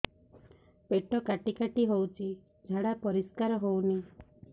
ପେଟ କାଟି କାଟି ହଉଚି ଝାଡା ପରିସ୍କାର ହଉନି